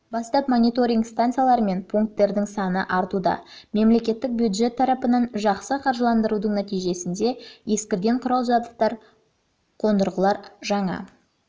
бастап мониторинг станциялары мен пункттердің саны артуда мемлекеттік бюджет тарапынан жақсы қаржыландырудың нәтижесінде ескірген құрал жабдықтар мен қондырғылар жаңа